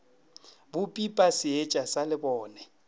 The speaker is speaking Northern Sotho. bo pipa seetša sa lebone